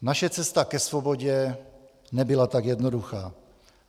Naše cesta ke svobodě nebyla tak jednoduchá.